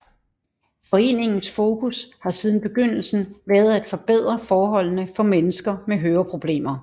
Foreningens fokus har siden begyndelsen været at forbedre forholdene for mennesker med høreproblemer